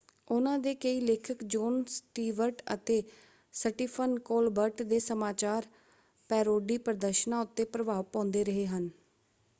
ਉਹਨਾਂ ਦੇ ਕਈ ਲੇਖਕ ਜੌਨ ਸਟੀਵਰਟ ਅਤੇ ਸੱਟੀਫਨ ਕੋਲਬਰਟ ਦੇ ਸਮਾਚਾਰ ਪੈਰੋਡੀ ਪ੍ਰਦਰਸ਼ਨਾਂ ਉੱਤੇ ਪ੍ਰਭਾਵ ਪਾਉਂਦੇ ਰਹੇ ਹਨ।